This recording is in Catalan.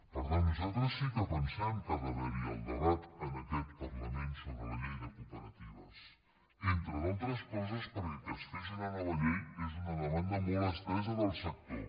per tant nosaltres sí que pensem que ha d’haver hi el debat en aquest parlament sobre la llei de cooperatives entre d’altres coses perquè que es fes una nova llei és una demanda molt estesa del sector